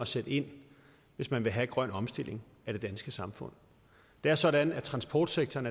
sætte ind hvis man vil have en grøn omstilling af det danske samfund det er sådan at transportsektoren